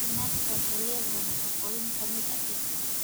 Isbinaashka waxay leedahay nafaqooyin ka mid ah birta.